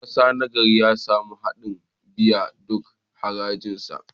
Dan kasa nagari ya samu ladan biyan duk harajinsa.